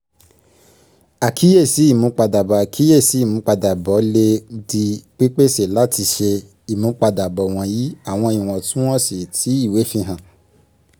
àkíyèsí ìmúpadàbọ̀ àkíyèsí ìmúpadàbọ̀ lè di pípèsè láti ṣe ìmúpadàbọ̀ wọ̀nyí àwọn iwọntún-wọnsì tí ìwé fihàn